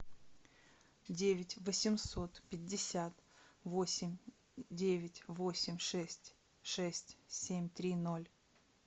девять восемьсот пятьдесят восемь девять восемь шесть шесть семь три ноль